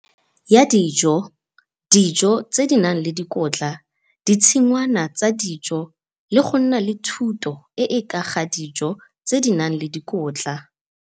ya dijo, dijo tse di nang le dikotla, ditshingwana tsa dijo le go nna le thuto e e ka ga dijo tse di nang le dikotla.